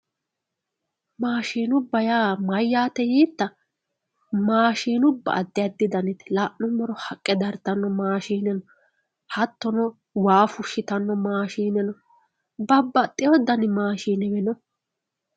Mashinuba ya mayate yita mashinuba adi adi danite lanumoro haqe daritano mashine no hatino waa wushitano mashine no babaxewo dani mashinewe no